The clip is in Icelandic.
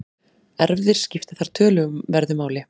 Erfðir skipta þar töluverðu máli.